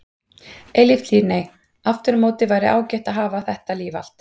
Eilíft líf nei, aftur á móti væri ágætt að hafa þetta líf allt.